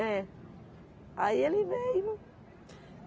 É. Aí ele veio.